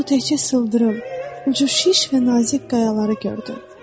Lakin o təkcə sıldırım, ucu şiş və nazik qayaları gördü.